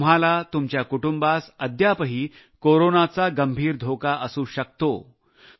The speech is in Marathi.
तुम्हाला तुमच्या कुटुंबाला अद्यापही कोरोनाचा गंभीर धोका असू शकतो